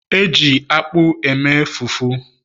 e ji akpu e mee fufu